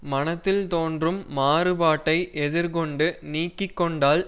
மனத்தில் தோன்றும் மாறுபாட்டை எதிர் கொண்டு நீக்கி கொண்டால்